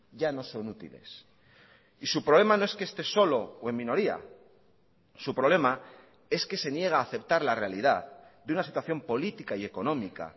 ya no son útiles y su problema no es que esté solo o en minoría su problema es que se niega a aceptar la realidad de una situación política y económica